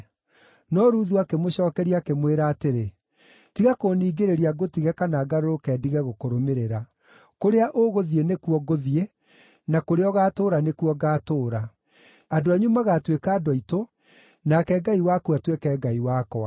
No Ruthu akĩmũcookeria, akĩmwĩra atĩrĩ, “Tiga kũningĩrĩria ngũtige kana ngarũrũke ndige gũkũrũmĩrĩra. Kũrĩa ũgũthiĩ nĩkuo ngũthiĩ, na kũrĩa ũgaatũũra nĩkuo ngaatũũra. Andũ anyu magaatuĩka andũ aitũ, nake Ngai waku atuĩke Ngai wakwa.